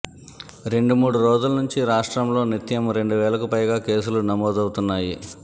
రెండుమూడు రోజుల నుంచి రాష్ట్రంలో నిత్యం రెండువేలకు పైగా కేసులు నమోదవుతున్నాయి